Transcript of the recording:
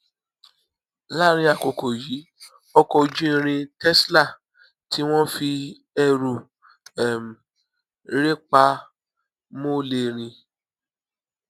láàárín àkókò yìí ọkọ ojú irin tesla tí wón fi ẹrù um rè pa mó lè rìn